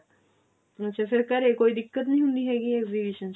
ਅੱਛਾ ਫਿਰ ਘਰੇ ਕੋਈ ਦਿੱਕਤ ਨਹੀਂ ਹੁੰਦੀ ਹੈਗੀ exhibition ਚ